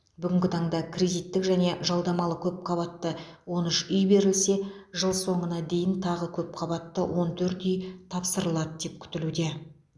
бүгінгі таңда кредиттік және жалдамалы көпқабатты он үш үй берілсе жыл соңына дейін тағы көпқабатты он төрт үй тапсырылады деп күтілуде